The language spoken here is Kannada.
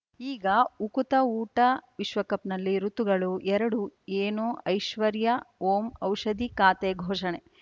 ಈಗ ಉಕುತ ಊಟ ವಿಶ್ವಕಪ್‌ನಲ್ಲಿ ಋತುಗಳು ಎರಡು ಏನು ಐಶ್ವರ್ಯಾ ಓಂ ಔಷಧಿ ಖಾತೆ ಘೋಷಣೆ